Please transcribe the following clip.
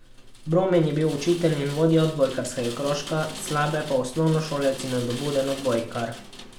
Brumen je bil učitelj in vodja odbojkarskega krožka, Slabe pa osnovnošolec in nadobuden odbojkar.